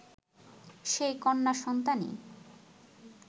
সেই কন্যা সন্তানই